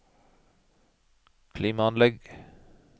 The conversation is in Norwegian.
klimaanlegg